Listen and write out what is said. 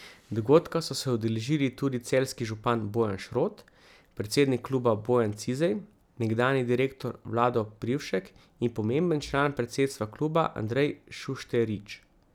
Dogodka so se udeležili tudi celjski župan Bojan Šrot, predsednik kluba Bojan Cizej, nekdanji direktor Vlado Privšek in pomemben član predsedstva kluba Andrej Šušterič.